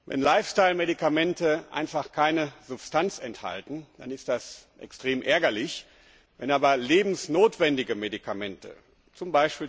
Wenn Lifestyle Medikamente einfach keine Substanz enthalten, dann ist das extrem ärgerlich, wenn aber lebensnotwendige Medikamente, z.